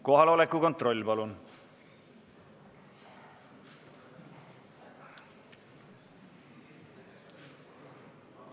Kohaloleku kontroll, palun!